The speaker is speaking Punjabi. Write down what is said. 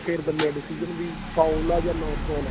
ਫੇਰ ਦਿਨੇ ਏ decision ਵੀ foul ਏ ਜਾਂ not foul ਏ